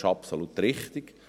Dies ist absolut richtig.